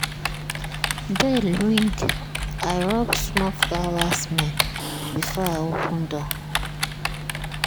bell ring i rub small flower-smell before i open door.